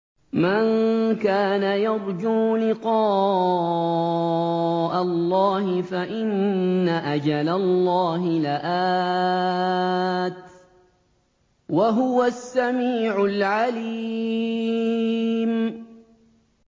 مَن كَانَ يَرْجُو لِقَاءَ اللَّهِ فَإِنَّ أَجَلَ اللَّهِ لَآتٍ ۚ وَهُوَ السَّمِيعُ الْعَلِيمُ